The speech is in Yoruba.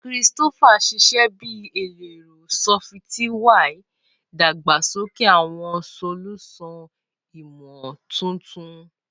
Christopher ṣiṣẹ bi ẹlẹrọ sọfitiwia, dagbasoke awọn solusan imotuntun.